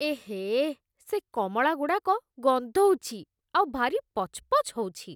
ଏହେଃ, ସେ କମଳାଗୁଡ଼ାକ ଗନ୍ଧଉଚି, ଆଉ ଭାରି ପଚ୍‌ପଚ୍ ହଉଚି ।